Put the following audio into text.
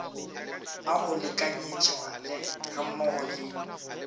a go lekanyetšwa gammogo le